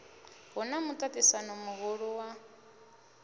hu na muṱaṱisano muhulu wa